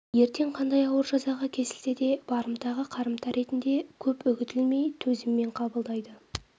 ертең қандай ауыр жазаға кесілсе де барымтаға қарымта ретінде көп үгітілмей төзіммен қабылдайды